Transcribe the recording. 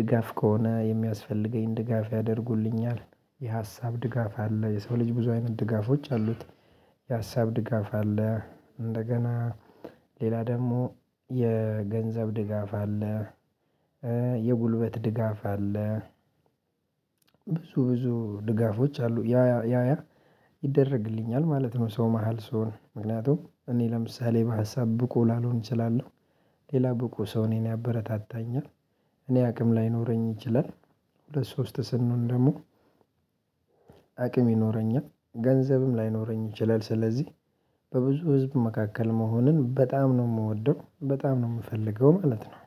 ድጋፍ ከሆነ የሚያስፈልገኝ ድጋፍ ያደርጉልኛል። የሀሳብ ድጋፍ አለ የሰው ልጅ ብዙ አይነት ድጋፎች አሉት። የሀሳብ ድጋፍ አለ እንደገና ሌላ ደግሞ የገንዘብ ድጋፍ አለ። የጉልበት ድጋፍ አለ። ብዙ ብዙ ድጋፎች አሉ ያ ያ ያ ያ ይደረግልኛል ማለት ነው። ሰው መሃል ስሆን ምክንያቱም እኔ ለምሳሌ በሀሳብ ብቁ ላልሆን እችላለሁ። ሌላ ብቁ ሰው እኔን ያበረታታኛል እኔ አቅም ላይኖረኝ ይችላል። ሁለት ሶስት ስንሆን ደግሞ አቅም ይኖረኛል ገንዘብም ላይኖረኝ ይችላል። ስለዚህ በብዙ ህዝብ መካከል መሆኑን በጣም ነው የምወደው በጣም ነው የምፈልገው ማለት ነው